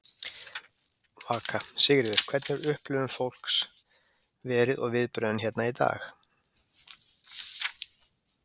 Vaka: Sigríður, hvernig hefur upplifun fólks verið og viðbrögðin hérna í dag?